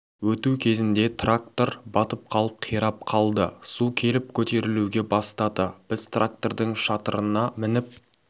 өту кезінде трактор батып қалып қирап қалды су келіп көтерілуге бастады біз трактордың шатырына мініп